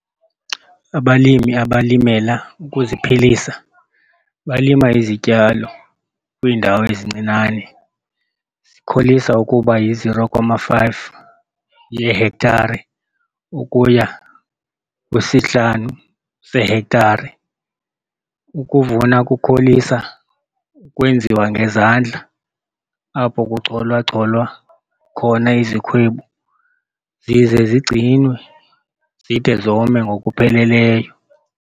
Abalimi abalimela ukuziphilisa balima izityalo kwiindawo ezincinane, zikholisa ukuba yi-0,5 yeehektare ukuya kwisi-5 seehektare. Ukuvuna kukholisa ukwenziwa ngezandla apho kuchola-cholwa khona izikhwebu zize zigcinwe zide zome ngokupheleleyo.